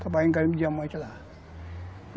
Trabalhar em garimpo de diamante lá.